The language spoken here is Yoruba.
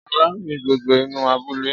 Ọba rin gbogbo inú abúlé